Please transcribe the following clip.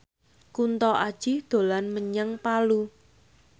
Kunto Aji dolan menyang Palu